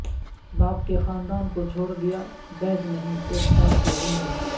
باپ کے خاندان کو چھوڑ دیا بید نہیں ایک سال کی عمر میں